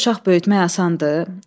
Dörd uşaq böyütmək asandır?